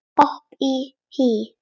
Hopp og hí